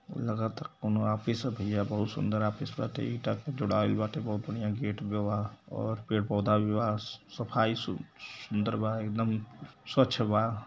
लगता कउनो ऑफिस ह भैयाबहुत सुन्दर ऑफिस बाटे ईटा से जुड़ैाईल बा बहुत बढ़िया गेट भी बा और पेड़ पौधा भी बा सफाई सु सुन्दर भी बा एकदम स्वच्छ बा।